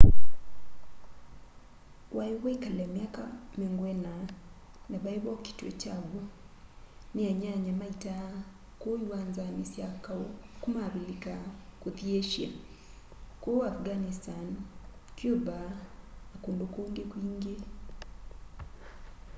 wai wikale myaka 40 na vai vokitwe kya w'o ni anyanya ma ita kuu iwanzani sya kau kuma avilika kuthi asia kuu afghanistan cuba na kundu kungi kwingi